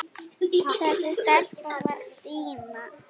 Þessi stelpa var Stína.